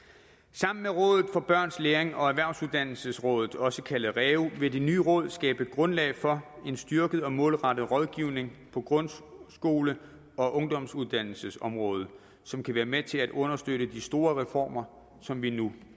sammen med råd for børns læring og erhvervsuddannelsesrådet også kaldet reu vil det nye råd skabe grundlag for en styrket og målrettet rådgivning på grundskole og ungdomsuddannelsesområdet som kan være med til at understøtte de store reformer som vi nu